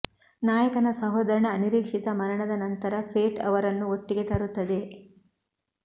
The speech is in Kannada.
ನಾಯಕನ ಸಹೋದರನ ಅನಿರೀಕ್ಷಿತ ಮರಣದ ನಂತರ ಫೇಟ್ ಅವರನ್ನು ಒಟ್ಟಿಗೆ ತರುತ್ತದೆ